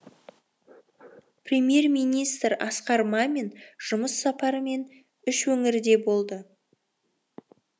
премьер министр асқар мамин жұмыс сапарымен үш өңірде болды